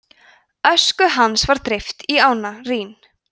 ösku hans var dreift í ána rín